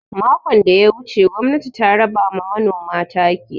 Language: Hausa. Makon da ya wuce gwamnati ta raba ma manoma taki.